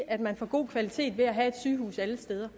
at man får god kvalitet ved at have et sygehus alle steder